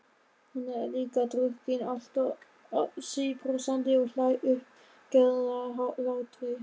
Hún er líka drukkin, alltaf síbrosandi og hlær uppgerðarhlátri.